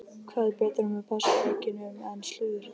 Hvað er betra með páskaeggjunum en slúður?